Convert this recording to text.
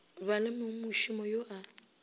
ba le mongmošomo yo a